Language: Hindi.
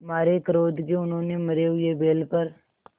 मारे क्रोध के उन्होंने मरे हुए बैल पर